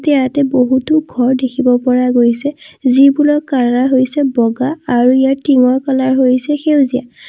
ইয়াতে বহুতো ঘৰ দেখিব পৰা গৈছে যিবোৰৰ কালাৰ হৈছে বগা আৰু ইয়াৰ টিংৰ কালাৰ হৈছে সেউজীয়া।